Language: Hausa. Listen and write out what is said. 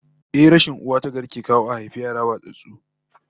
Ehh, rashin uwa tagari ke kawo a haifi yara watsattsu